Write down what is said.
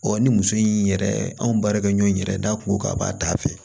ni muso in yɛrɛ anw baarakɛɲɔgɔn yɛrɛ n'a kungo k'a b'a da fɛ